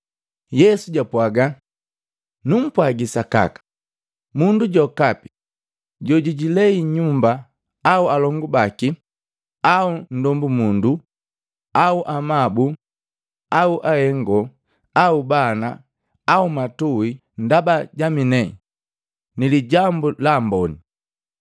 Yesu japwaaga, “Numpwagi sakaka, mundu jokapi jojijilei nyumba au alongu baki au nndombu mundu au amabu au ahengo au bana au matui ndaba jaminee ni Lijambu la Amboni,